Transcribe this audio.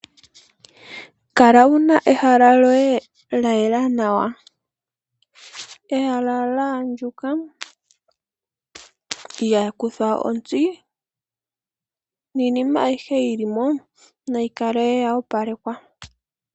Kala wu na ehala lyoye lya yela nawa, ehala lya andjuka lya kuthwa ontsi niinima ayihe yi li mo nayi kale yo opalekwa.